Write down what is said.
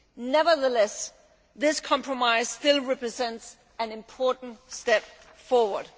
Nevertheless, this compromise still represents an important step forward.